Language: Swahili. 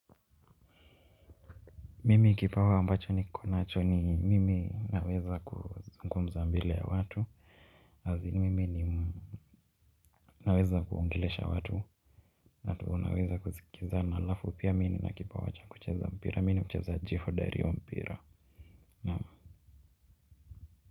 Mimi kipawa ambacho nikonacho ni, mimi naweza kuzungumza mbele ya watu. As in mimi nimu, naweza kuongelesha watu ata wewe unaweza kusikiza na, alafu pia mi nina kipawa cha kucheza mpira mi nimchezaji hodari wa mpira naam.